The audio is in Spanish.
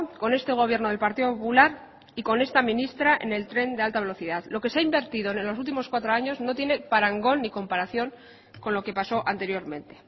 con este gobierno del partido popular y con esta ministra en el tren de alta velocidad lo que se ha invertido en los últimos cuatro años no tiene parangón ni comparación con lo que pasó anteriormente